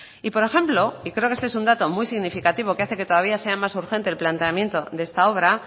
y por ejemplo y creo que esto es un dato muy significativo que hace que todavía sean más urgente el planteamiento de esta obra